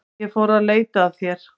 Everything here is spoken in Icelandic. Ég fór að leita að þér.